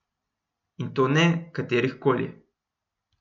In to ne katerih koli!